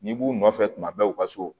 N'i b'u nɔfɛ tuma bɛɛ u ka so